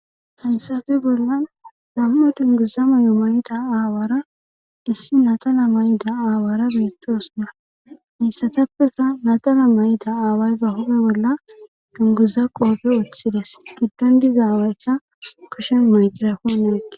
hayssafe bollan lammu dunguzamu yu mayida aawaara issi natana may7ida aawaara biittoosuna issatappeka natana may7ida aawayza hupe bolla dunguza qoofe oththides giddondizaawaecha kushen mayqira kuneekke